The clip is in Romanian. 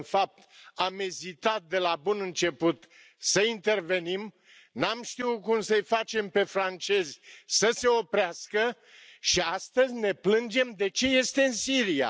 În fapt, am ezitat de la bun început să intervenim, n am știut cum să i facem pe francezi să se oprească și astăzi ne plângem de ce este în Siria.